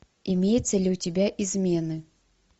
имеется ли у тебя измены